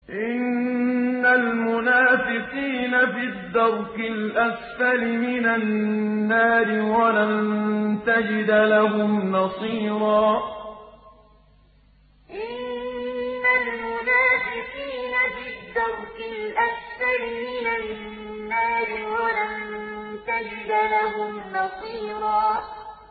إِنَّ الْمُنَافِقِينَ فِي الدَّرْكِ الْأَسْفَلِ مِنَ النَّارِ وَلَن تَجِدَ لَهُمْ نَصِيرًا إِنَّ الْمُنَافِقِينَ فِي الدَّرْكِ الْأَسْفَلِ مِنَ النَّارِ وَلَن تَجِدَ لَهُمْ نَصِيرًا